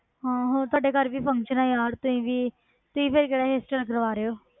ਹਾਂ ਹੋਰ ਤੁਹਾਡੇ ਘਰ ਵੀ function ਹੈ ਯਾਰ ਤੁਸੀਂ ਵੀ, ਤੁਸੀਂ ਫਿਰ ਕਿਹੜਾ hairstyle ਕਰਵਾ ਰਹੇ ਹੋ?